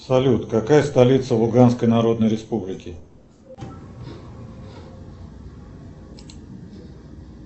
салют какая столица луганской народной республики